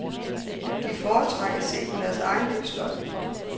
De foretrak at se på deres egen livsløgn.